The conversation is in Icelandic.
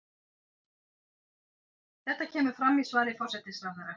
Þetta kemur fram í svari forsætisráðherra